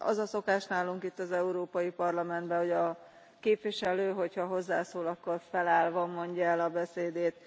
Az a szokás nálunk, itt az Európai Parlamentben, hogy a képviselő, hogyha hozzászól, akkor felállva mondja el a beszédét.